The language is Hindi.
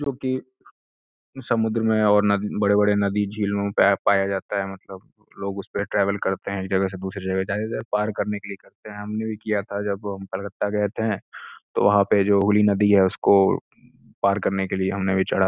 जो कि समुन्द्र में और बड़े-बड़े नदी और झीलों में पाया जाता है। मतलब कुछ लोग उसपे ट्रेवल करते हैं। एक जगह से दूसरी जगह जाने के लिए या पार करने के लिए करते हैं। हमने भी किया था जब हम कोलकता गये थे तो वहां पे जो हुगली नदी है उसको पार करने के लिए हमने भी चढ़ा --